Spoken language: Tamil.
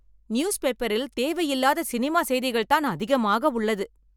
நியூஸ்பேப்பரில் தேவை இல்லாத சினிமா செய்திகள்தான் அதிகமாக உள்ளது.